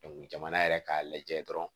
jamana yɛrɛ k'a lajɛ dɔrɔn